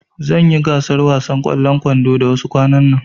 Zanyi gasar wasan ƙwallon kwando da wasu kwanan nan